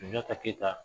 Sunjata keyita